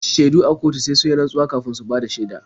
Shaidu a kotu sai sun yi rantsuwa kafin su bada shaida.